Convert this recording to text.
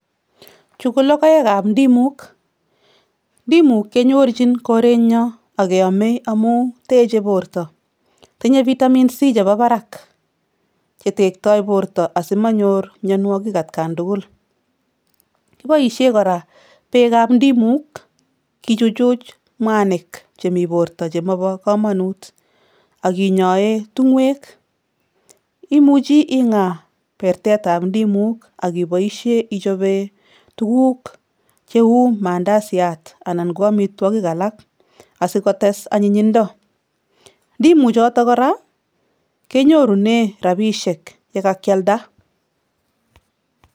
Chu ko logoekap ndimuk. Ndimuk kenyorjin korenyo ak keomei amu techei borto. Tinyei vitamin C chebo barak chetektoi borto asimonyor mionwogik atkan tugul. Kiboisie kora beekap ndimuk kichuchuch mwanik chemi borto chemobo komonut ak kinyoee tung'wek. Imuchi ing'aa pertetap ndimuk ak iboisie ichope tuguk cheu mandasiat ana ko amitwogik alak asikotes anyinyindo. Ndimuchotok kora kenyorune rabisiek yekakialda.